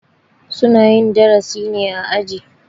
Su na yin darasi ne a aji.